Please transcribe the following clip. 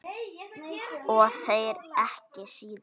Og þér ekki síður